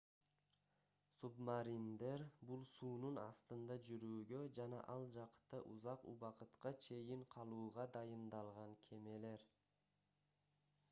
субмариндер бул суунун астында жүрүүгө жана ал жакта узак убакытка чейин калууга дайындалган кемелер